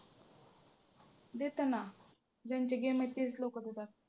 देतात ना ज्यांचे game आहे तेच लोकं देतात.